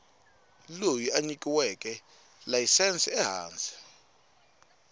loyi a nyikiweke layisense ehansi